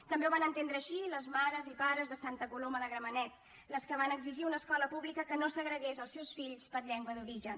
també ho van entendre així les mares i pares de santa coloma de gramenet les que van exigir una escola pública que no segregués els seus fills per llengua d’origen